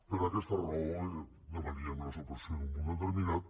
per aquesta raó demanaríem la supressió d’un punt determinat